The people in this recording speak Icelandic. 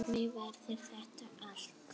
Hvernig verður þetta allt?